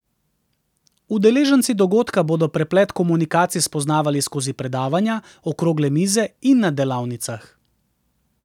Udeleženci dogodka bodo preplet komunikacij spoznavali skozi predavanja, okrogle mize in na delavnicah.